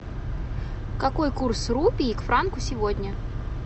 какой курс рупий к франку сегодня